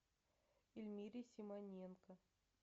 эльмире симоненко